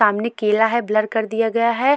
सामने केला है ब्लर कर दिया गया है।